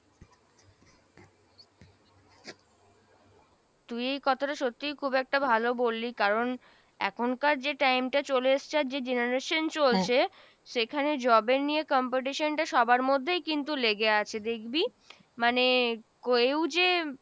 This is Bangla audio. তুই এ কথাটা সত্যিই খুব একটা ভালো বললি কারণ এখনকার যে time টা চলে এসছে আর যে generation চলছে সেখানে job এর নিয়ে competition টা সবার মধ্যেই কিন্তু লেগে আছে দেখবি মানে কোএউ যে,